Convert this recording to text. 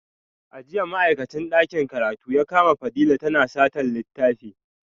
A jiya ma’aikacin dakin karatu ya kama Fadila tana satar littafi